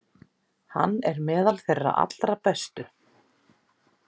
Hann er meðal þeirra allra bestu.